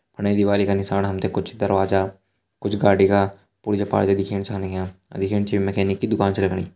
फणे दिवाली का नीसाण हम तें कुछ दरवाजा कुछ गाड़ी का पुर्जा पर्जा दिखेण छा लग्यां अर दिखेण से यु मेकनिक की दुकान छ लगणी।